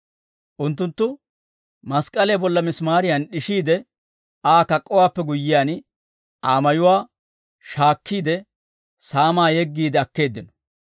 Unttunttu mask'k'aliyaa bolla misimaariyan d'ishiide Aa kak'k'owaappe guyyiyaan, Aa mayuwaa shaakkiide, saamaa yeggiide akkeeddino.